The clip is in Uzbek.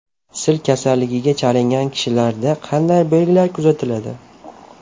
Sil kasalligiga chalingan kishilarda qanday belgilar kuzatiladi?